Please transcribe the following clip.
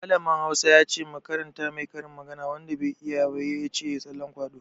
Mallamin Hausa ya ce mu karanta mai karin magana, wanda bai iya ba ya ce ya yi tsallan kwaɗo.